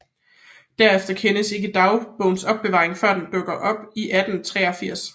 Derefter kendes ikke dagbogens opbevaring før den dukker op i 1883